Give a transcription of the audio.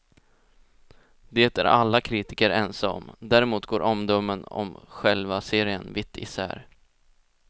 Det är alla kritiker ense om, däremot går omdömen om själva serien vitt isär.